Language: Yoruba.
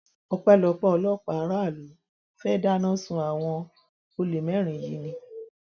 ọpẹlọpẹ ọlọpàá aráàlú fẹẹ dáná sun àwọn olè mẹrin yìí ni